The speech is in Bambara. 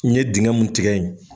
N ɲe dingɛ mun tigɛ yen